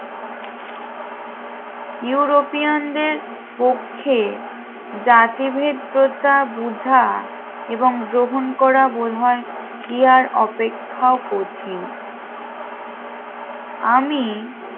ইউরোপিয়ানদের পক্ষে জাতিভেদ্রতা বুঝা এবং গ্রহণ করা বোধ হয় কি আর অপেক্ষা কঠিন আমি